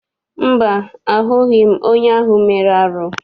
Mba, ahụbeghị m onye ahụ mere arụ.